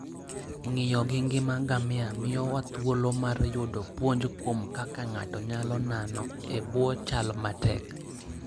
Ng'iyo gi ngima ngamia miyowa thuolo mar yudo puonj kuom kaka ng'ato nyalo nano e bwo chal matek.